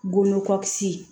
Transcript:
Golo kɔ kisi